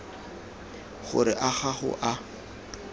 gore a ga go a